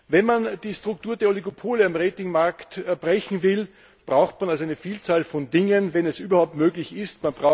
Wenn man die Struktur der Oligopole am Ratingmarkt brechen will, braucht man eine Vielzahl von Dingen, wenn es denn überhaupt möglich ist.